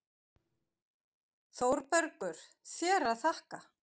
ÞÓRBERGUR: Þér að þakka!